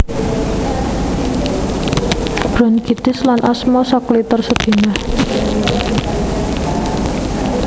Bronkitis lan asma sakliter sedina